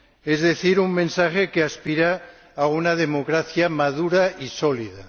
Es decir, un mensaje que aspira a una democracia madura y sólida.